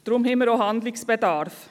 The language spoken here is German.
Darum haben wir auch Handlungsbedarf.